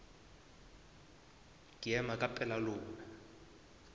ke ema ka pela lona